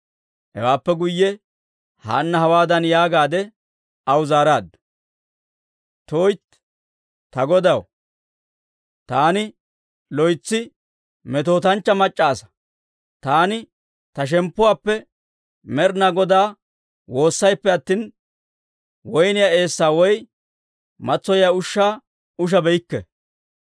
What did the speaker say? Hewaappe guyye Haanna hawaadan yaagaadde aw zaaraaddu; «tuytti, ta godaw, taani loytsi metootanchchaa mac'c'a asaa; taani ta shemppuwaappe Med'inaa Godaa woossayippe attina, woyniyaa eessaa woy matsoyiyaa ushshaa ushabeykke.